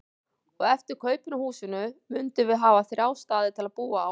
Og eftir kaupin á húsinu mundum við hafa þrjá staði til að búa á.